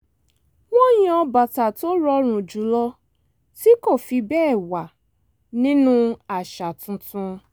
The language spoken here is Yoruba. wọ́n yan bàtà tó rọrùn jùlọ tí kò fi bẹ́ẹ̀ wà nínú àṣà tuntun